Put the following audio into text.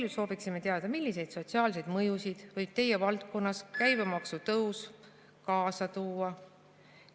Veel sooviksime teada, milliseid sotsiaalseid mõjusid võib teie valdkonnas käibemaksu tõus kaasa tuua.